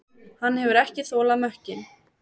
Hann hefur ekki þolað mökkinn.